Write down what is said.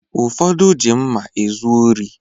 Ụfọdụ ji mma ezu ori